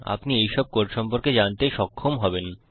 আপনি এইসব কোড সম্পর্কে জানতে সক্ষম হবেন